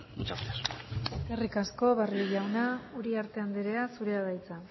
muchas gracias eskerrik asko barrio jauna uriarte anderea zurea da hitza